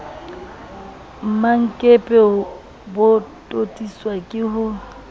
mmankepe bo totiswa ke ho